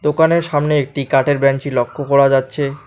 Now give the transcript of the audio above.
দোকানের সামনে একটি কাটের বেঞ্চি লক্ষ করা যাচ্ছে।